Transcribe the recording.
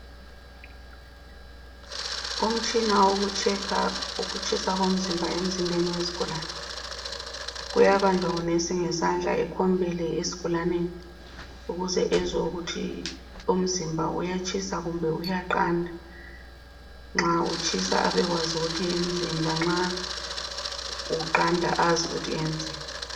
Umtshina wokutshekha ukutshisa komzimba emzimbeni wesigulane uyabanjwa ngunesi ngesandla ekhombele isigulane ukuze ezwe ukuthi umzimba uyatshisa kumbe uyaqanda. Nxa utshisa abekwazi ukuthi ayenzeni lanxa uqanda azi ukuthi enzeni.